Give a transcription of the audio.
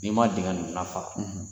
N'i ma dingɛ n'a fara